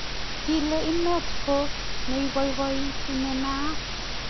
kilen inet ko neiboiboiti ne naat